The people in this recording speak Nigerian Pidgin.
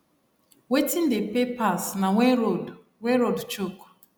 wetin dey pay pass na when road when road choke